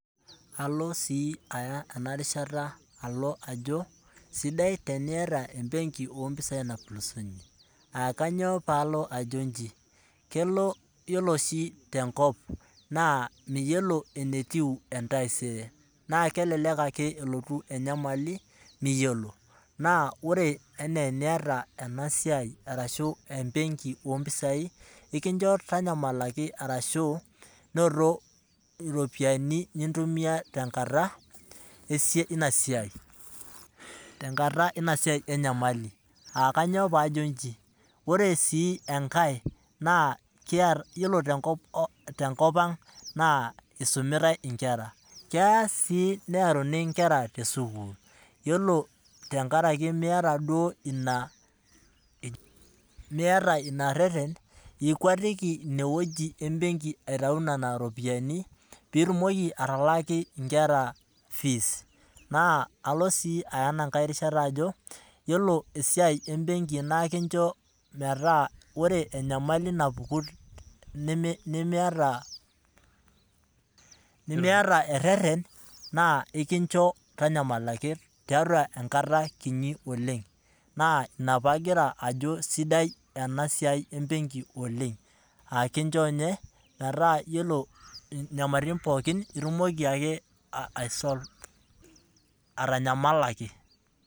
Kesidai teniata embeki ino opisai, te nkaraki etaisere ino amu keeta mbaa naapulusunyie na idim aitau aitumia ina kata egoloto. Na idim si airagie pee itumia nkera inonok te nkaraki ekisuma enye, neaku enamaana oooleng.